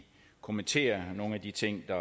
kommentere nogle af de ting der